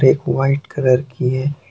एक white colour की है।